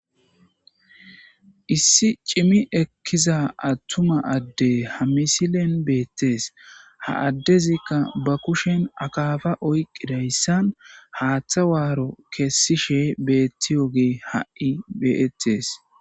Issi cimi ekkiza attuma adde ha misilen beettees ha addezikka ba kushen akaafa oyqidayssan haaththa waaro kessishe beettiyogee ha'i beettes.